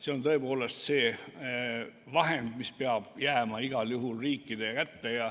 See on tõepoolest see vahend, mis peab jääma igal juhul riikide kätte.